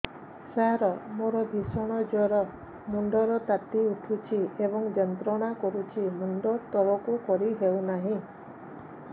ସାର ମୋର ଭୀଷଣ ଜ୍ଵର ମୁଣ୍ଡ ର ତାତି ଉଠୁଛି ଏବଂ ଯନ୍ତ୍ରଣା କରୁଛି ମୁଣ୍ଡ ତଳକୁ କରି ହେଉନାହିଁ